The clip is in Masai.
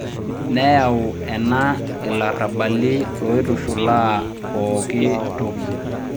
neyau ena ilarabali loitushulaa poki toki.